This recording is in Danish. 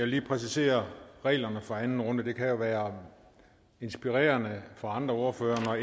lige præcisere reglerne for anden runde det kan jo være inspirerende for andre ordførere når